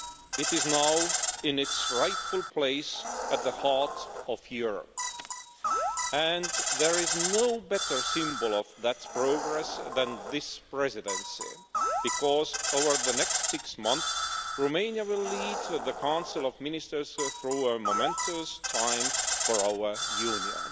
It is now in its rightful place at the heart of Europe, and there is no better symbol of that progress than this Presidency because, over the next six months, Romania will lead the Council of Ministers through a momentous time for our Union.